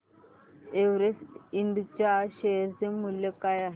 Everest Ind च्या share चे मूल्य काय आहे